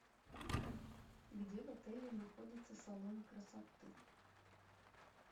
где в отеле находится салон красоты